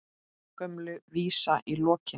Gömul vísa í lokin.